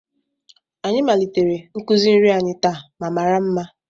Anyị malitere nkuzi nri anyị taa ma mara mma